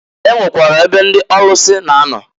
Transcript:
E nwekwara ebe ndị ọlụsị na-anọ.